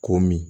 Ko min